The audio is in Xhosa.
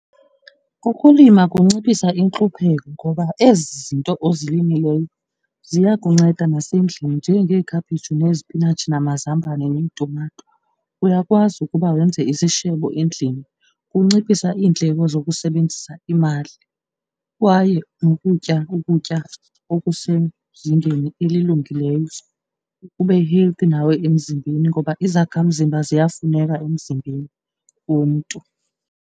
Kukulima kunciphisa intlupheko ngoba ezi zinto ozilimelayo ziya kunceda nasendlini njengeekhaphetshu nezipinatshi namazambane netumato. Uyakwazi ukuba wenze isishebo endlini, kunciphisa iindleko zokusebenzisa imali. Kwaye nokutya ukutya okusezingeni elilungileyo ube healthy nawe emzimbeni ngoba izakhamzimba ziyafuneka emzimbeni womntu.